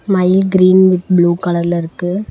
மயில் green with blue கலர்ல இருக்கு.